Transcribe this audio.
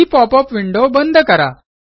ही pop up window बंद करा